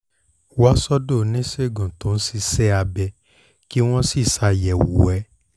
wá sọ́dọ̀ oníṣègùn tó ń ṣe iṣẹ́ abẹ́ kí wọ́n sì ṣàyẹ̀wò ẹ̀